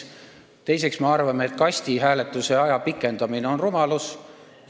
Teiseks, me arvame, et kastihääletuse aja pikendamine on rumalus.